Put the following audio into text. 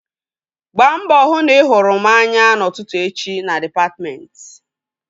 Gbaa mbọ hụ na ị hụrụ m anya n'ụtụtụ echi na dịpatmentị!